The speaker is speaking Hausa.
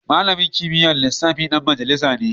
Malamin kimiyyar lissafi dan majalisa ne